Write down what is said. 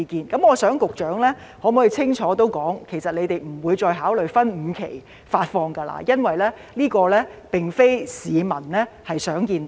就此，我想局長可否清楚說明，局方其實不會再考慮分5期發放，因為這並非市民想看到的。